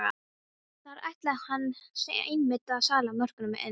Þar ætlaði hann einmitt að salla mörkunum inn!